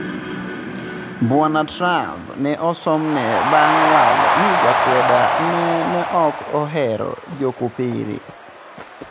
Bwana Trump ne osomne bang' waalo ni jakweda ne no ok ohero jokopere.